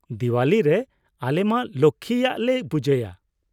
ᱫᱤᱣᱟᱞᱤ ᱨᱮ ᱟᱞᱮ ᱢᱟ ᱞᱚᱠᱽᱠᱷᱤ ᱭᱟᱜ ᱞᱮ ᱯᱩᱡᱟᱹᱭᱟ ᱾